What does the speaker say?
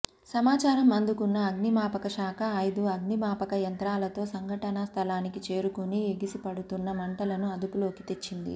సమాచారం అందుకున్న అగ్నిమాపకశాఖ ఐదు అగ్నిమాపక యంత్రాలతో సంఘటనా స్థలానికి చేరుకుని ఎగసిపడుతున్న మంటలను అదుపులోకి తెచ్చింది